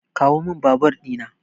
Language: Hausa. Kawomin babur dina.